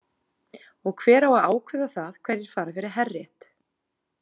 Og hver á að ákveða það hverjir fara fyrir herrétt?